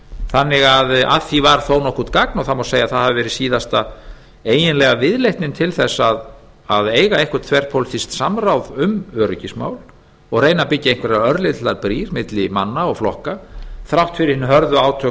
þannig að að því var þó nokkurt gagn það má segja að þetta hafi verið síðasta eiginlega viðleitnin til þess að eiga eitthvert þverpólitískt samráð um öryggismál og reyna að byggja einhverjar örlitlar brýr milli manna og flokka þrátt fyrir hin hörðu átök